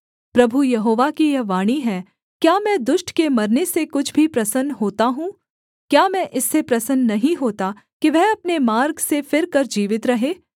प्रभु यहोवा की यह वाणी है क्या मैं दुष्ट के मरने से कुछ भी प्रसन्न होता हूँ क्या मैं इससे प्रसन्न नहीं होता कि वह अपने मार्ग से फिरकर जीवित रहे